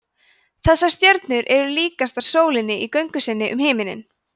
þessar stjörnur eru líkastar sólinni í göngu sinni um himininn